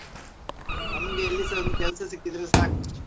ನಮ್ಗೆ ಎಲ್ಲಿಸಾ ಒಂದು ಕೆಲಸ ಸಿಕ್ಕಿದ್ರೆ ಸಾಕು.